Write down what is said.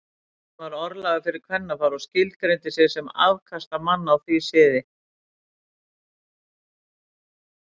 Hann var orðlagður fyrir kvennafar og skilgreindi sig sem afkastamann á því sviði.